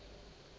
nto ngo kwabo